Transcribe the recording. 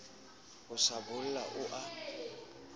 ho sa bola o a